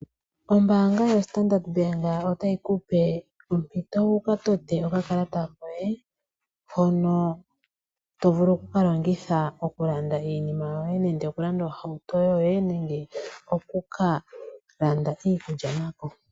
Ombaanga yo Standard Bank otayi ku pe ompito wu ka tote okakalata koye hono to vulu oku ka longitha okulanda iinima yoye nenge okulanda ohauto yoye, nenge oku ka landa iikulya nako.